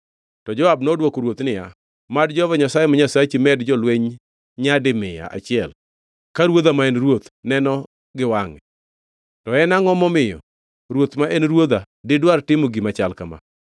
To Joab nodwoko ruoth niya, “Mad Jehova Nyasaye ma Nyasachi med jolweny nyadi mia achiel ka ruodha ma en ruoth neno gi wangʼe. To en angʼo momiyo ruoth ma en ruodha didwar timo gima chal kama?”